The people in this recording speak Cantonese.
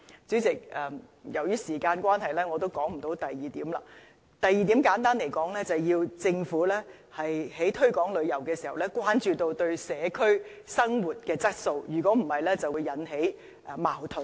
主席，由於時間關係，我簡略說第二點，就是政府在推廣旅遊的同時，要關注旅客對社區生活質素的影響，否則便會引起矛盾。